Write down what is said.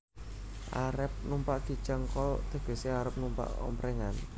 Arep numpak Kijang kol tegesé arep numpak omprèngan